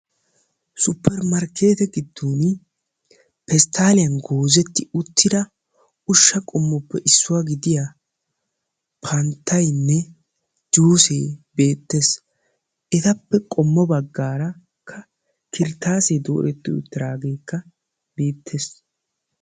Supermarkette gido pesttaliyan goozettidda ushsha qommoy panttayinne juusse beettes. Ettappe qommo bagan qibatekka beetes.